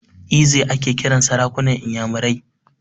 Eze ake kiran sarakunan inyamurai.